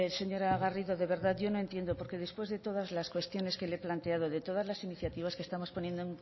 señora garrido de verdad yo no entiendo porque después de todas las cuestiones que le he planteado de todas las iniciativas que estamos poniendo